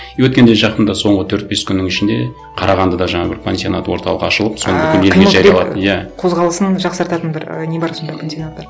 и өткенде жақында соңғы төрт бес күннің ішінде қарағандыда жаңа бір пансионат орталығы ашылып иә қозғалысын жақсартатын бір і не бар сонда пансионат бар